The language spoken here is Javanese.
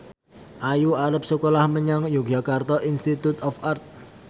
Ayu arep sekolah menyang Yogyakarta Institute of Art